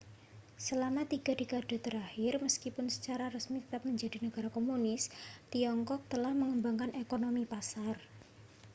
selama tiga dekade terakhir meskipun secara resmi tetap menjadi negara komunis tiongkok telah mengembangkan ekonomi pasar